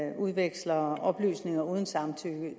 man udveksler oplysninger uden samtykke